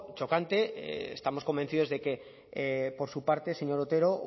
chocante estamos convencidos de que por su parte señor otero